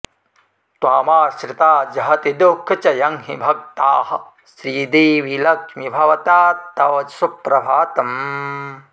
त्वामाश्रिता जहति दुःखचयं हि भक्ताः श्रीदेवि लक्ष्मि भवतात्तव सुप्रभातम्